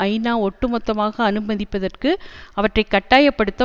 ஐநா ஒட்டுமொத்தமாக அனுமதிப்பதற்கு அவற்றை கட்டாய படுத்த